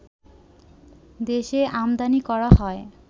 দেশে আমদানী করা হয়